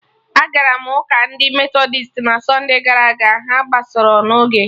Agara m ụka ndị Metọdist na sunde gara aga, ha agbasarọ n'oge